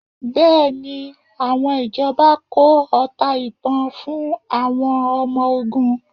Bẹ́ẹ̀ni, àwọn ìjọba kó ọta ìbon fún àwọn ọmọ ogun?